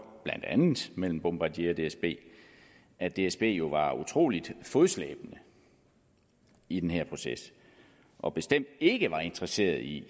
blandt andet mellem bombardier og dsb at dsb jo var utrolig fodslæbende i den her proces og bestemt ikke var interesseret i